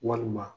Walima